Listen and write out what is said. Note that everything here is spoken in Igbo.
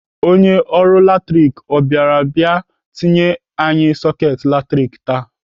Onye ọrụ latrik ọ bịara bịa tinyere anyị soketị latrik taa?